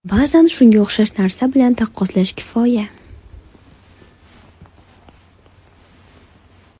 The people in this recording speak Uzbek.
Ba’zan shunga o‘xshash narsa bilan taqqoslash kifoya.